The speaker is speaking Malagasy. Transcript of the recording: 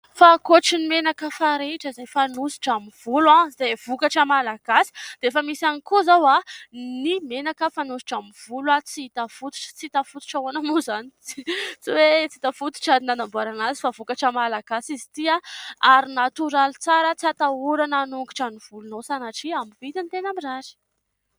Fa ankoatra ny menaka farehitra izay fanosotra amin'ny volo izay vokatra malagasy dia efa misy ihany koa izao ny menaka fanosotra amin'ny volo " tsihitafototra " ahoana moa izany tsy hoe tsy hita fototra ny nanamboarana azy fa vokatra malagasy izy ity ary natoraly tsara, tsy hatahorana hanongotra ny volonao sanatria amidy vidiny tena mirary.